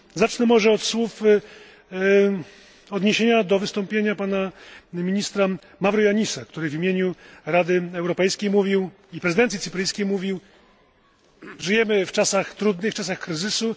Zacznę może od słów odniesienia do wystąpienia pana ministra Mavroyiannisa, który w imieniu Rady Europejskiej i prezydencji cypryjskiej mówił Żyjemy w czasach trudnych, czasach kryzysu.